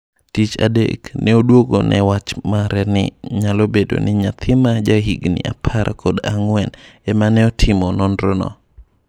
Tich adek, ne oduogone wach mare ni nyalobedoni "nyathi ma jahigni apar kod ang'wen"ema neotimo nonro no.